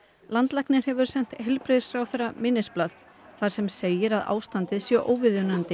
landlæknir hefur sent heilbrigðisráðherra minnisblað þar sem segir að ástandið sé óviðunandi